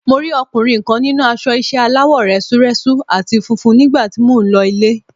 Mo rí ọkùnrin kan nínú aṣọ ìṣe aláwọ̀ rẹ́súrẹ́sú àti funfun nígbà tí mò ń lọ ilé.